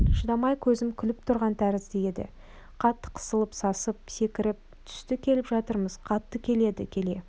шыдамай көзім күліп тұрған тәрізді еді қатты қысылып сасып секіріп түсті күліп жатырмыз қатты келеді келе